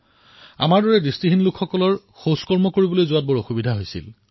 আমি অন্ধ লোকে মলত্যাগৰ সময়ত যথেষ্ট কষ্ট পাওঁ